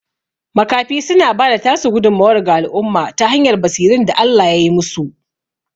Makafi suna bada tasu gudummuwar ga al'umma ta hanyar basirun da Allah yai musu